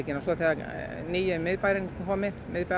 og svo þegar nýi miðbærinn er kominn